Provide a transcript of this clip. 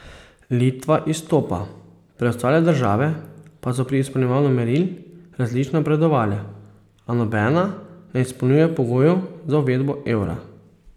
Litva izstopa, preostale države pa so pri izpolnjevanju meril različno napredovale, a nobena ne izpolnjuje pogojev za uvedbo evra.